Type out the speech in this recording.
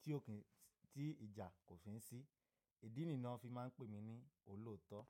tí kò kí n sì-- tí ìjà kò fi ní sí. Ìdí nìyí tí wọ́n fi máa ń pè mí ní olóòótọ́.